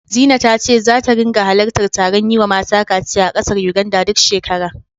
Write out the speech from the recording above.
Zina ta ce zata ringa halartar taron yiwa mata kaciya na ƙasar Yuganda, duk shekara.